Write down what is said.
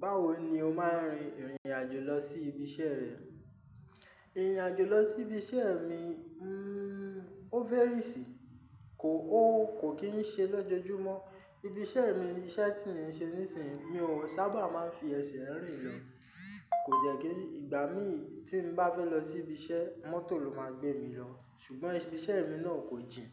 Báwo ni o máa ń rin ìrìn àjò lọ sí ibi iṣẹ́ rẹ? Ìrìn àjò lọ sí ibi iṣẹ́ mi, o verisi, kò kí ń ṣe lọ́jọ́júmọ́. Ibi iṣẹ́ mi, iṣẹ́ tí mo ń ṣe nísìnyí, mi ò sábà máa ń fi ẹsẹ̀ rìn lọ. Kò dẹ̀ kí ìgbà mí tí mo bá fẹ́ lọ sí ibi iṣẹ́, mọ́tò ló máa gbé mi lọ. Ṣùgbọ́n ibi iṣẹ́ mi náà kò jìn.